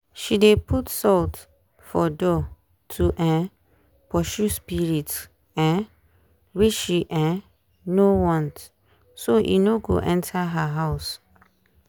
she dey put salt for door to um pursue spirit um wey she um no want so e no go enter her house.